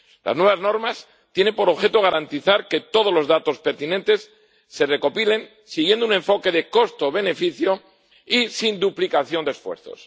Las nuevas normas tienen por objeto garantizar que todos los datos pertinentes se recopilen siguiendo un enfoque de costo beneficio y sin duplicación de esfuerzos.